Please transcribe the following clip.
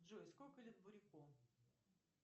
джой сколько лет буряку